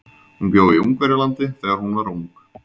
Hún bjó í Ungverjalandi þegar hún var ung.